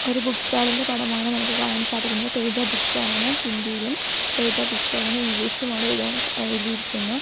ഒരു book stall ഇന്റെ പടമാണ് നമുക്ക് കാണാൻ സാധിക്കുന്നത് തേജ ബുക്ക് സ്റ്റാൾ എന്ന് ഹിന്ദി ഇയിലും തേജ ബുക്ക് സ്റ്റാൾ എന്ന് ഇംഗ്ലീഷ് ഇലും അവിടെ എഴുതാൻ എഴുതിയിരിക്കുന്നു.